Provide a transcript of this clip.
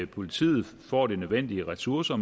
politiet får de nødvendige ressourcer